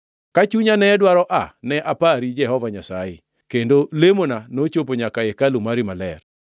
“Ka chunya ne dwaro aa ne apari Jehova Nyasaye, kendo lemona nochopo nyaka e hekalu mari maler.